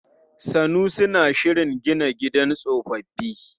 Sanusi na shirin gina gidan tsofaffi.